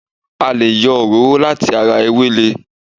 A lè yọ òróró láti ara ewele